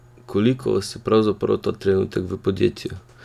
Koliko vas je pravzaprav ta trenutek v podjetju?